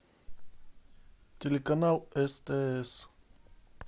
телеканал стс